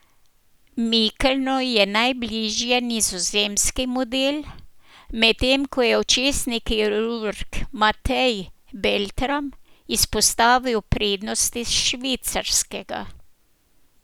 Mikelnu je najbližje nizozemski model, medtem ko je očesni kirurg Matej Beltram izpostavil prednosti švicarskega.